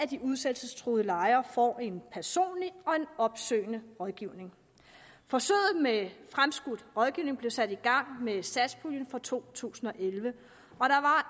de udsættelsestruede lejere får en personlig og opsøgende rådgivning forsøget med fremskudt rådgivning blev sat i gang med satspuljen for to tusind og elleve